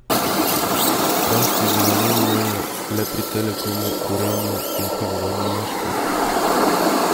Rast je bila minimalna le pri Telekomu, Gorenju in Pivovarni Laško.